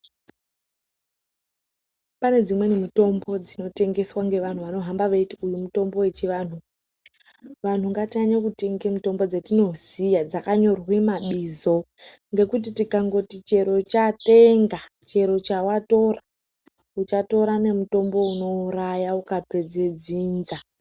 Pane dzimweni mitombo dzino tengeswa ngevanhu vanohamba veiti mutombo we chi vanhu ngatinyanye kutenga mutombo dzatinoziya dzakanyorwe ma bizo ngekuti tikangoti chero chatenga chero chawatora uchatora ne mutombo uno uraya uka pedze dzinza.